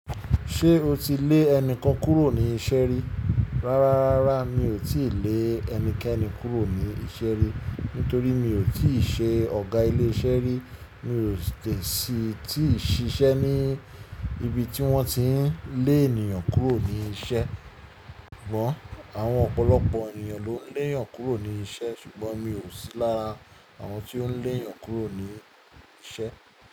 Ṣé o ti lé ẹnikan kúrò ní iṣẹ́ rí? Rárá, rárá mi ò tíì lé ẹnikẹ́ni kúrò ní iṣẹ́ rí, nítorí mi ò tíì ṣe ọ̀gá ilé iṣẹ́ rí, mi ò sì tíì ṣiṣẹ́ ní ibi tí wọ́n ti ń lé ènìyàn kúrò ní isẹ́. Ṣùgbọ́n àwọn ọ̀pọ̀lọpọ̀ ènìyàn ló ń lé ènìyàn kúrò ní isẹ́, ṣùgbọ́n mi ò sí lára àwọn tí ó ń lé èèyàn kúrò ní isẹ́.